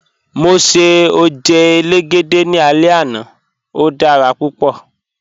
Mọ ṣẹ̀ ojẹ́ èlégédẹ̀ ní àlẹ̀ ẹna, ó dára púpọ̀